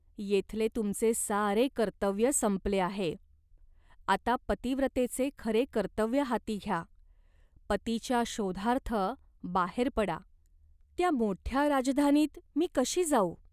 येथले तुमचे सारे कर्तव्य संपले आहे. आता पतिव्रतेचे खरे कर्तव्य हाती घ्या, पतीच्या शोधार्थ बाहेर पडा." "त्या मोठ्या राजधानीत मी कशी जाऊ ?